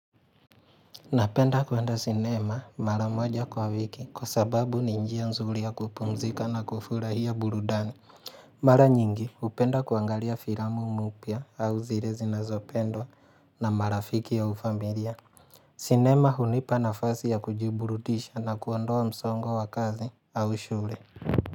Napenda kuwenda sinema mara moja kwa wiki kwa sababu ninjia nzuri ya kupumzika na kufura hiya burudani. Mara nyingi upenda kuangalia firamu mupia au zile zinazopendwa na marafiki ya ufamilia. Sinema hunipa nafasi ya kujiburudisha na kuondoa msongo wa kazi au shule.